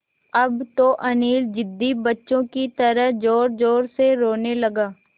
अब तो अनिल ज़िद्दी बच्चों की तरह ज़ोरज़ोर से रोने लगा